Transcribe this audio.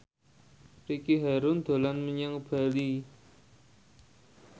Ricky Harun dolan menyang Bali